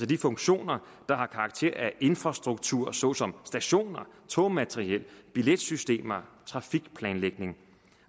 de funktioner der har karakter af infrastruktur såsom stationer togmateriel billetsystemer trafikplanlægning